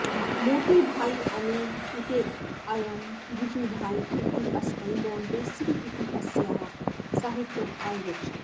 मोतीभाई अमीन इत्ययं गिजुभाई इत्यस्मै मॉन्टेसरी इत्यस्याः साहित्यम् अयच्छत्